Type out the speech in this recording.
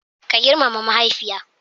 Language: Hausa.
Ka girmama mahaifiya.